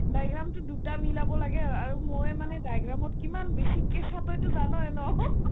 diagram তো দুটা মিলাব লাগে আৰু মই মানে diagram ত কিমান বেছিকে expert তইতো জানই ন